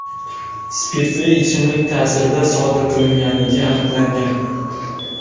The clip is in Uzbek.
spirtli ichimlik ta’sirida sodir qilganligi aniqlangan.